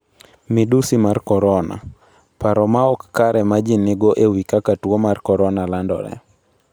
Midusi mar korona: Paro maok kare ma ji nigo e wi kaka tuwo mar korona landore